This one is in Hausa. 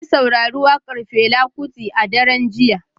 Na saurari wakar Fela Kuti a daren jiya.